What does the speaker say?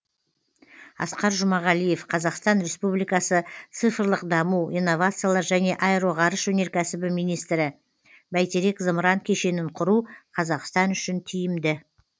асқар жұмағалиев қазақстан республикасы цифрлық даму инновациялар және аэроғарыш өнеркәсібі министрі бәйтерек зымыран кешенін құру қазақстан үшін тиімді